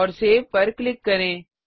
और सेव पर क्लिक करें